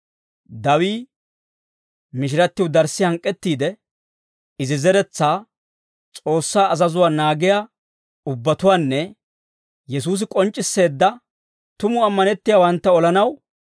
Dawii mishirattiw darssi hank'k'ettiide, izi zeretsaa S'oossaa azazuwaa naagiyaa ubbatuwaanne Yesuusi k'onc'c'isseedda tumu ammanettiyaawantta olanaw,